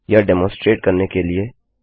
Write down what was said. यह डेमोन्सट्रेट करने के लिए